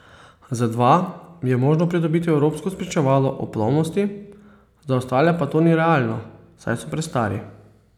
Za dva je možno pridobiti evropsko spričevalo o plovnosti, za ostale pa to ni realno, saj so prestari.